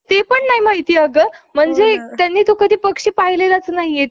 आणि त्यांचे बंधू केशवभट कर्वे यांनी पेशवाईच्या काळात दुकानदारा~ अं दुकानदारी चाली~ चांगली कमाई केली होती.